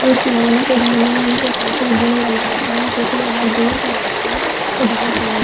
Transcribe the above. को धोने में उनको काफी दिन लग जाता है क्योंकि अगर दूर का रास्ता तो बहोत म--